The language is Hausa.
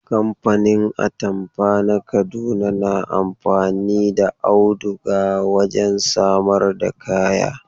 Kamfanin atamfa na Kaduna na amfani da auduga wajen samar da kaya.